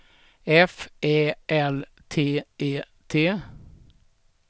F Ä L T E T